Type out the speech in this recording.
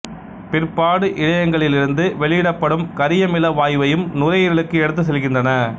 பிற்பாடு இழையங்களிலிருந்து வெளியிடப்படும் கரியமில வாயுவையும் நுரையீரலுக்கு எடுத்துச் செல்கின்றன